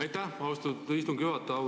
Aitäh, austatud istungi juhataja!